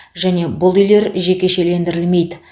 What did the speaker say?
және бұл үйлер жекешелендірілмейді